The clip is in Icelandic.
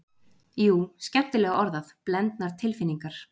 Jú, skemmtilega orðað, blendnar tilfinningar.